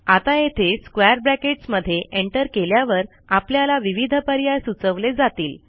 आता येथे square brackets मध्ये एंटर केल्यावर आपल्याला विविध पर्याय सुचवले जातील